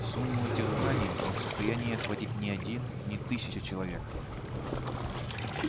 сумму этих знаний не в состоянии охватить ни один ни тысяча человек